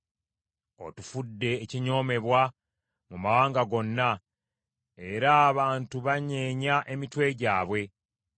Otufudde ekinyoomebwa mu mawanga gonna; era abantu banyeenya emitwe gyabwe.